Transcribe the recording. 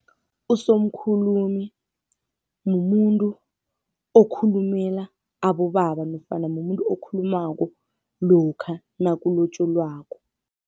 Usomkhulumi mumuntu okhulumela abobaba nofana mumuntu okhulumako lokha nakulotjolwako.